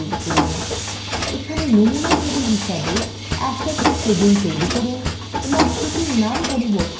এখানে নমুনা তবিল হিসাবে assets table ব্যবহার করুন এবং এটির নামান্তর করে assetscopy করুন